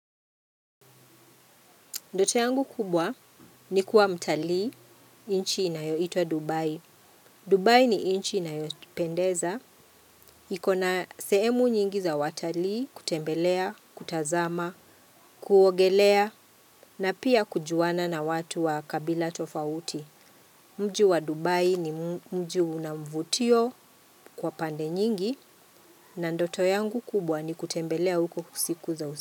Ndoto yangu kubwa ni kuwa mtalii inchi inayoitwa Dubai. Dubai ni inchi inayotipendeza. Ikona sehemu nyingi za watalii kutembelea, kutazama, kuogelea na pia kujuana na watu wa kabila tofauti. Mji wa Dubai ni mji una mvutio kwa pande nyingi na ndoto yangu kubwa ni kutembelea huko kusiku za usi.